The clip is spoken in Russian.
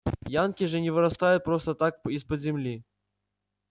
янки же не вырастают просто так из-под земли